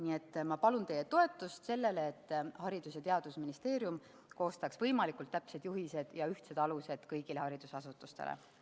Nii et ma palun teie toetust ettepanekule, et Haridus- ja Teadusministeerium koostaks võimalikult täpsed juhised ja ühtsed alused kõigile haridusasutustele.